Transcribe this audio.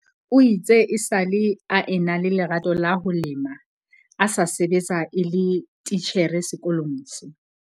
O itse esale a ena le lerato la ho lema a sa sebetsa e le titjhere sekolong se.